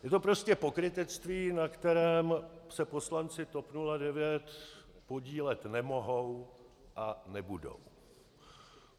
Je to prostě pokrytectví, na kterém se poslanci TOP 09 podílet nemohou a nebudou.